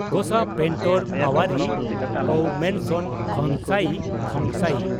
ᱜᱚᱥᱟ ᱯᱮᱱᱴᱚᱨ (ᱯᱟᱣᱟᱨᱤ) ᱯᱟᱣᱢᱤᱱᱥᱚᱱ ᱠᱷᱚᱝᱥᱟᱭ (ᱠᱷᱚᱝᱥᱟᱭᱤ)